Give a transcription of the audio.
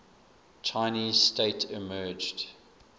chinese state emerged